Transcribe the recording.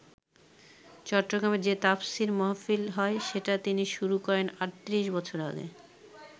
চট্টগ্রামে যে তাফসীর মাহফিল হয়, সেটা তিনি শুরু করেন ৩৮ বছর আগে।